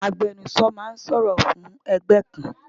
Agbẹnusọ ma ń sọ̀rọ̀ fún ẹgbẹ́ kan